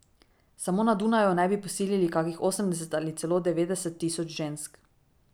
Samo na Dunaju naj bi posilili kakih osemdeset ali celo devetdeset tisoč žensk.